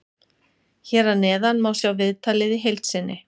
Hér að neðan má sjá viðtalið í heild sinni.